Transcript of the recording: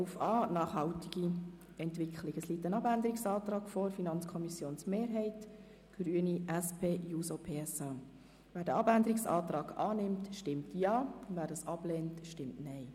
Wer den Abänderungsantrag annehmen will, stimmt Ja, wer diesen ablehnt, stimmt Nein.